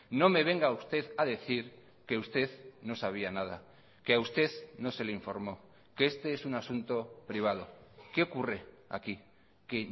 no me venga usted a decir que usted no sabía nada que a usted no se le informó que este es un asunto privado qué ocurre aquí que